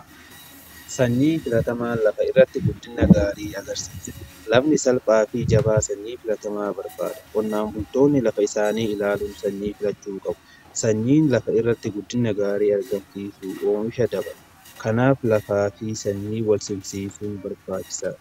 Sanyii filatamaa lafa irratti guddina gaarii agarsiisa. Lafni salphaa fi jabaa sanyii filatamaa barbaada. Qonnaan buntoonni lafa isaanii ilaaluun sanyii filachuu qabu. Sanyiin lafa irratti guddina gaarii argamsiisu oomisha daban kanaaf lafaa fi sanyii walsimsiisuu barbaachisaa.